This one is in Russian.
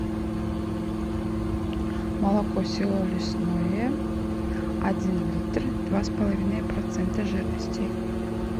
молоко село лесное один литр два с половиной процента жирности